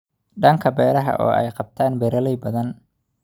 dhanka beeraha oo ay qabtaan beeraley badan